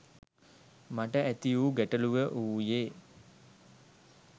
මට ඇතිවූ ගැටලුව වූයේ